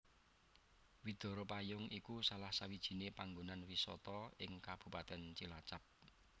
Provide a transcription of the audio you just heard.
Widara Payung iku salah sawijiné panggonan wisata ing Kabupatèn Cilacap